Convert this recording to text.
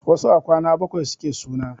Wasu a kwana bakwai suke suna.